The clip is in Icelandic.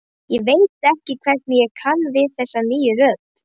Ég veit ekki hvernig ég kann við þessa nýju rödd.